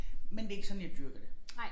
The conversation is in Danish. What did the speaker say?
Men det ikke sådan jeg dyrker det